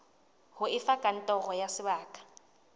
ho efe kantoro ya sebaka